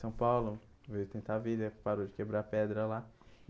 São Paulo veio tentar a vida, parou de quebrar pedra lá.